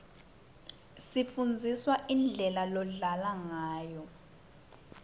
sifundziswa indlela lodlalwa ngayo